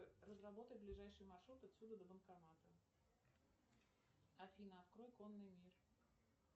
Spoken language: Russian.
разработай ближайший маршрут отсюда до банкомата афина открой конный мир